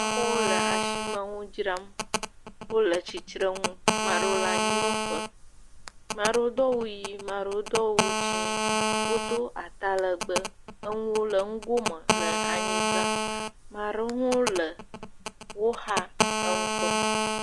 Amewo le ashime ŋu dzram. Wole tsitsreŋu, maa ɖewo le anyinɔƒe. Maa ɖewo do awu yii, maa ɖewo do awu dzɛ̃ɛ̃, wodo atalɛgbɛ, eŋu le ŋugome le anyigba. Ma ɖewo hã wole woxa eŋu kpɔm.